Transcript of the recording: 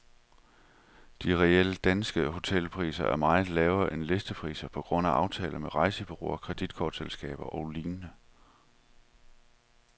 De reelle danske hotelpriser er meget lavere end listepriserne, på grund af aftaler med rejsebureauer, kreditkortselskaber og lignende.